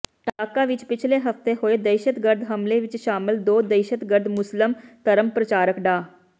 ਢਾਕਾ ਵਿੱਚ ਪਿਛਲੇ ਹਫ਼ਤੇ ਹੋਏ ਦਹਿਸ਼ਤਗਰਦ ਹਮਲੇ ਵਿੱਚ ਸ਼ਾਮਲ ਦੋ ਦਹਿਸ਼ਤਗਰਦ ਮੁਸਲਿਮ ਧਰਮ ਪ੍ਰਚਾਰਕ ਡਾ